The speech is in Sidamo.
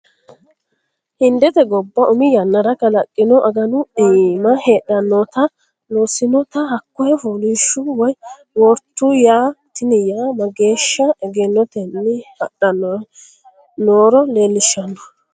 Hindete gobba umi yannara kalaqino aganu iima heedhanotta loosinotta hakko foolishshu woyi wortu yaa tini yanna mageeshsha egennotenni hadhanni nooro leellishanoho.